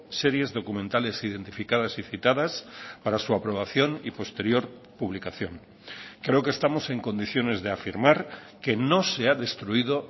series documentales identificadas y citadas para su aprobación y posterior publicación creo que estamos en condiciones de afirmar que no se ha destruido